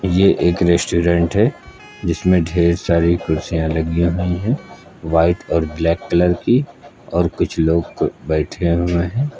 ये एक रेस्टोरेंट है जिसमें ढेर सारी कुर्सियां लगी हुईं है व्हाइट और ब्लैक कलर की और कुछ लोग बैठे हुए हैं।